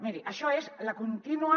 miri això és la contínua